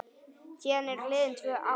Síðan eru liðin tvö ár.